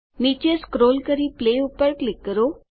નીચે સ્ક્રોલ કરી પ્લે પર ક્લિક કરો